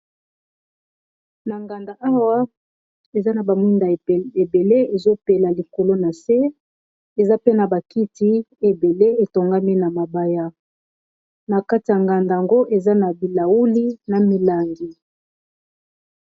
Na nganda awa, eza na ba mwinda ebele ezo pela likolo na se. Eza pe na ba kiti ebele, etongami na mabaya. Na kati ya nganda yango, eza na bilauli na milangi.